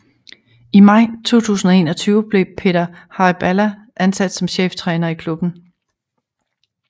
I maj 2021 blev Peter Hyballa ansat som cheftræner i klubben